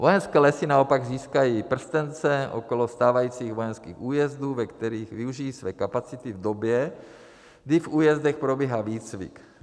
Vojenské lesy naopak získají prstence okolo stávajících vojenských újezdů, ve kterých využijí své kapacity v době, kdy v újezdech probíhá výcvik.